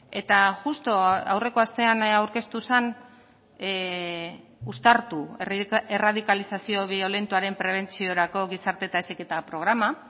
eta justu aurreko astean aurkeztu zen uztartu erradikalizazio biolentoaren prebentziorako gizarte eta heziketa programa